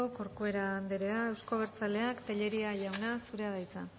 corcuera andrea euzko abertzaleak tellería jauna zurea da hitza